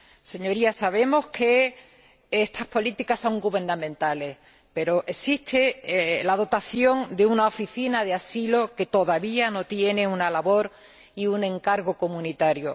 Señorías, sabemos que estas políticas son gubernamentales, pero existe la dotación para una oficina de asilo que todavía no tiene una labor y un encargo comunitario.